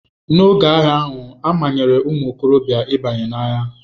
N'oge agha ahụ, a manyere ụmụ okorobịa ịbanye n'agha.